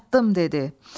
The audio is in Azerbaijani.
çatdım dedi.